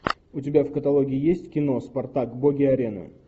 у тебя в каталоге есть кино спартак боги арены